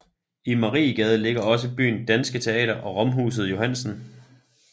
I Mariegaden ligger også byen danske teater og romhuset Johannsen